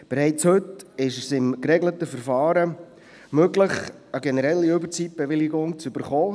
Bereits heute ist es in einem geregelten Verfahren möglich, eine generelle Überzeitbewilligung zu erhalten.